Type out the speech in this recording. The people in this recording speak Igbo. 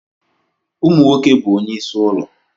Ụmụ nwoke bụ onyeisi ụlọ.